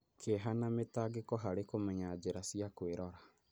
Kĩeha na mĩtangĩko harĩ kũmenya njĩra cia kwĩrora